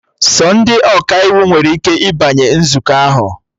Sọ ndị Ọkaiwu nwere ike ịbanye nzukọ ahụ